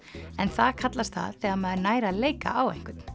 en það kallast það þegar maður nær að leika á einhvern